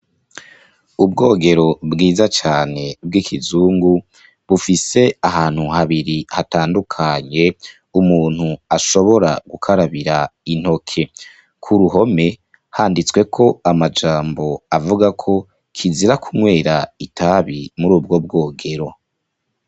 Ubwogero bwiza cane, bw'ikizungu, bufise ahantu habiri hatandukanye, umuntu ashobora gukarabira intoke; ku ruhome handitsweko amajambo, avuga ko kizira kunywera itabi muri ubwo bwogero.